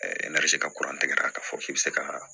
N'a bɛ se ka k'a fɔ k'i bɛ se ka